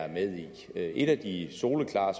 med i et af de soleklare